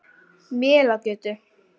Melagötu